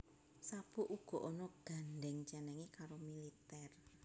Sabuk uga ana gandheng cenenge karo militer